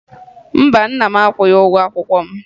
Mba, nna m akwụghị ụgwọ akwụkwọ m